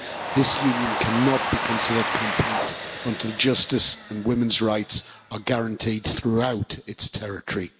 This Union cannot be considered complete until justice and women's rights are guaranteed throughout its territory.